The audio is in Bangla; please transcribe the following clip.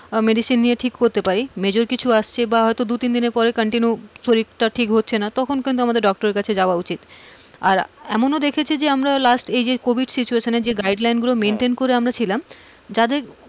medicine নিয়ে ঠিককরতে পারি, major কিছু আসছে বা দু তিনদিন পরে শরীরটা ঠিক হচ্ছে না তখন কিন্তু আমাদের doctor এর কাছে যাওয়া উচিত, আর এমন ও দেখেছি যে আমরা last এই যে covid situation এ যে guideline গুলো maintain করে আমরা ছিলাম যাদের,